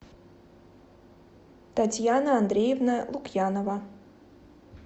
татьяна андреевна лукьянова